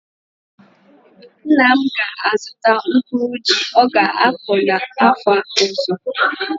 Nna m ga-azụtara mkpụrụ ji ọ ga-akọ afọ ọzọ.